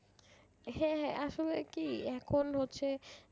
হ্যাঁ হ্যাঁ আসলে কি এখন হচ্ছে